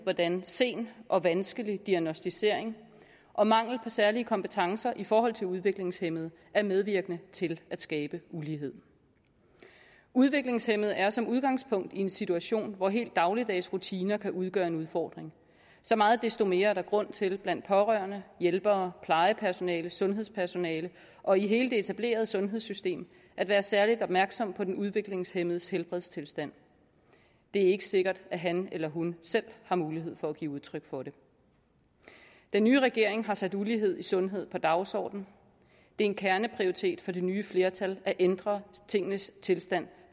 hvordan sen og vanskelig diagnosticering og mangel på særlige kompetencer i forhold til udviklingshæmmede er medvirkende til at skabe ulighed udviklingshæmmede er som udgangspunkt i en situation hvor helt dagligdags rutiner kan udgøre en udfordring så meget desto mere er der grund til blandt pårørende hjælpere plejepersonale sundhedspersonale og i hele det etablerede sundhedssystem at være særligt opmærksom på den udviklingshæmmedes helbredstilstand det er ikke sikkert at han eller hun selv har mulighed for at give udtryk for det den nye regering har sat ulighed i sundhed på dagsordenen det er en kerneprioritet for det nye flertal at ændre tingenes tilstand